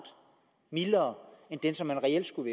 mildere end den som man reelt skulle